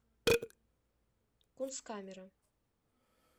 кунсткамера